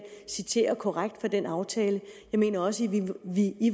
citerer korrekt fra den aftale jeg mener også